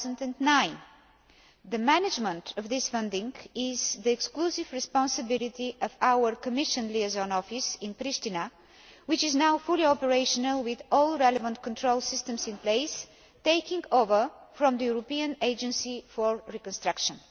2009. The management of this funding is the exclusive responsibility of our Commission Liaison Office in Priština, which is now fully operational with all relevant control systems in place, and takes over from the European Agency for Reconstruction.